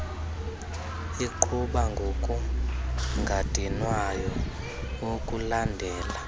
iqhuba ngokungadinwayo ukulandela